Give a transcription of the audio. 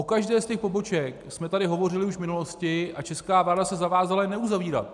O každé z těch poboček jsme tady hovořili už v minulosti a česká vláda se zavázala je neuzavírat.